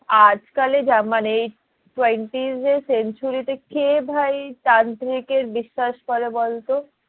আজ কালে যা মানে twenties এর century তে কে ভাই তান্ত্রিক এর বিশ্বাস করে বলতো?